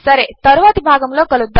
సరే తరువాతిభాగములోకలుద్దాము